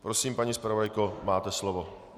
Prosím, paní zpravodajko, máte slovo.